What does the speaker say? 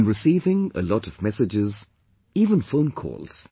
I am receiving a lot of messages; even phone calls